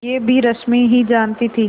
यह भी रश्मि ही जानती थी